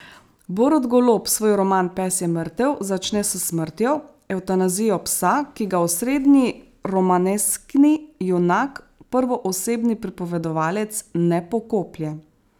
Borut Golob svoj roman Pes je mrtev začne s smrtjo, evtanazijo psa, ki ga osrednji romaneskni junak, prvoosebni pripovedovalec, ne pokoplje.